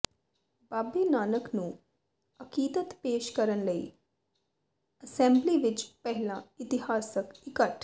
ਬਾਬੇ ਨਾਨਕ ਨੂੰ ਅਕੀਦਤ ਪੇਸ਼ ਕਰਨ ਲਈ ਅਸੈਂਬਲੀ ਵਿਚ ਪਹਿਲਾ ਇਤਿਹਾਸਕ ਇਕੱਠ